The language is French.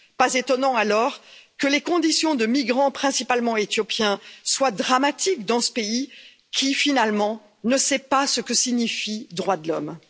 Pas étonnant alors que les conditions de migrants, principalement éthiopiens, soient dramatiques dans ce pays, qui, finalement ne sait pas ce que signifient les droits de l'homme.